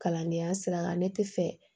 Kalandenya sira kan ne tɛ fɛ